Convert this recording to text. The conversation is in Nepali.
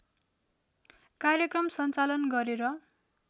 कार्यक्रम सञ्चालन गरेर